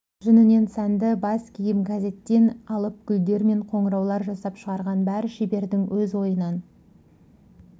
жүнінен сәнді бас киім газеттен алып гүлдер мен қоңыраулар жасап шығарған бәрі шебердің өз ойынан